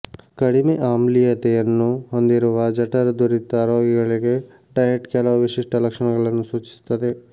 ಕಡಿಮೆ ಆಮ್ಲೀಯತೆಯನ್ನು ಹೊಂದಿರುವ ಜಠರದುರಿತ ರೋಗಿಗಳಿಗೆ ಡಯಟ್ ಕೆಲವು ವಿಶಿಷ್ಟ ಲಕ್ಷಣಗಳನ್ನು ಸೂಚಿಸುತ್ತದೆ